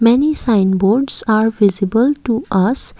many sign boards are visible to us.